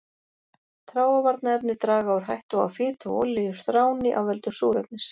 Þráavarnarefni draga úr hættu á að fita og olíur þráni af völdum súrefnis.